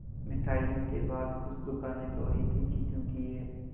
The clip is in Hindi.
मिठाइयों के बाद कुछ दुकानें लोहे की चीज़ों की हैं